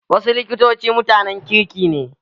Wasu likitoci mutanen kirki ne.